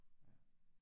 Ja